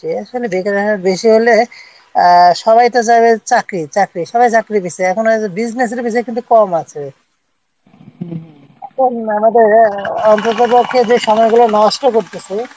এখানে বেকারের হার বেশি হলে আহ সবাই তো চাইবে চাকরি চাকরি সবাই চাকরি চাইছে এখন হইসে ব্যবসার বিষয়ে কিন্তু এখানে কম আছে এখন আমাদের অন্ততপক্ষে যে সময়গুলো নষ্ট করতেসে